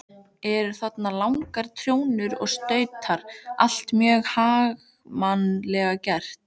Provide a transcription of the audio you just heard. Eru þarna langar trjónur og stautar, allt mjög haganlega gert.